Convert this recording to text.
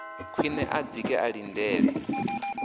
khwiṋe a dzike a ḽindele